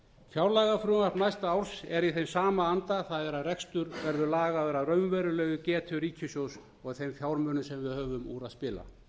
fjárlagafrumvarp næsta árs er í þeim sama anda það er að rekstur verði lagaður að raunverulegri getu ríkissjóðs og þeim fjármunum sem við höfum úr að spila